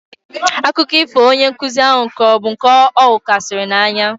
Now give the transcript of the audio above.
Akụkọ ifo onye nkụzi ahụ kọrọ bụ nke ọ hụkarịsịrị na anya